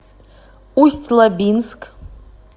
усть лабинск